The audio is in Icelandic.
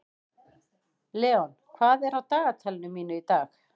Leon, hvað er á dagatalinu mínu í dag?